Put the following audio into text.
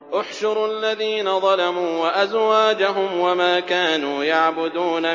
۞ احْشُرُوا الَّذِينَ ظَلَمُوا وَأَزْوَاجَهُمْ وَمَا كَانُوا يَعْبُدُونَ